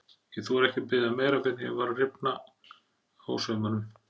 Ég þorði ekki að biðja um meira fyrr en ég var að rifna á saumunum.